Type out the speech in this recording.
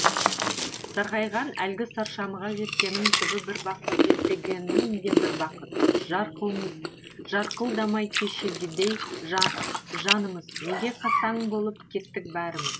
сарғайған әлгі саршамға жеткенің түбі бір бақыт жетпегенің де бір бақыт жарқылдамай кешегідей жа жанымыз неге қасаң болып кеттік бәріміз